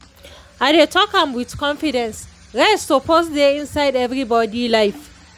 i dey talk am with confidence—rest suppose dey inside everybody life.